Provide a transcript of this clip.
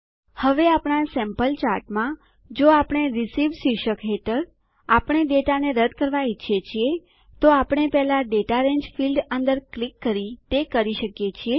હવે આપણા સેમ્પલ ચાર્ટમાં જો આપણે રિસીવ્ડ શીર્ષક હેઠળ આવેલ ડેટાને રદ્દ કરવાં ઈચ્છીએ છીએ તો આપણે પેહલા દાતા રંગે ફીલ્ડ અંદર ક્લિક કરી તે કરી શકીએ છીએ